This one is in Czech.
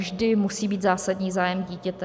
Vždy musí být zásadní zájem dítěte.